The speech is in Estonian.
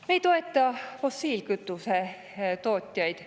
Me ei toeta fossiilkütuse tootjaid.